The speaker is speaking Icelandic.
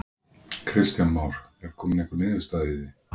Kristján Már: Er komin einhver niðurstaða í því?